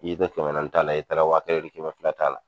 I ye tɛ kɛmɛ naani t'a la i taara waa kelen ni kɛmɛ fila t'a la